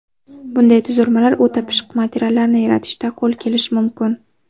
Bunday tuzilmalar o‘ta pishiq materiallarni yaratishda qo‘l kelishi mumkin.